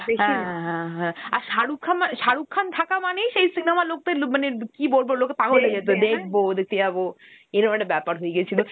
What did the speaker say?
হ্যা, হ্যা হ্যা. আর শারুখ খান মানে, শারুখ খান থাকা মানেই সেই cinema র , মানে কি বলব, লোকে পাগল হয় যেত, যে দেখবো, দেখতে যাব. এইরম একটা ব্যাপার হয়গেছিল.